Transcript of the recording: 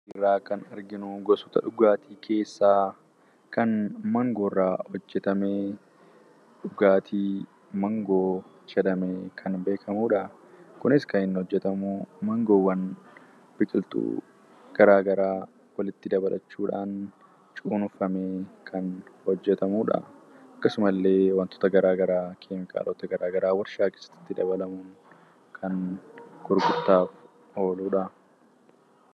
Suuraan asirra jiru gosoota dhugaatii keessaa kan maangoorraa hojjatame, dhugaatii maangoo jedhamuun kan beekamudha. Kunis kan inni hojjatamu maangoowwan biqiltuu garaagaraa walitti dabalachuudhaan cuunfamee kan hojjatamudha. Akkasumallee wantoota garaagaraa keemikaalota itti dabalamuudhaan kan hojjatamudha.